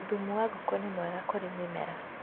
thumu wa ngũkũ nĩ mwega kũrĩ mĩmera.